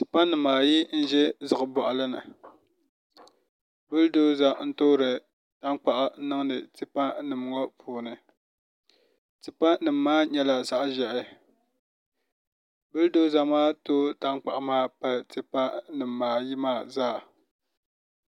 Tipa nim ayi n ʒɛ ziɣi boɣali no bul dolza n toori tankpaɣu n niŋdi tipa nim ŋo puuni tipa nim maa nyɛla zaɣ ʒiɛhi bul doza maa tooi tankpaɣu maa pali tipa nimaayi maa zaa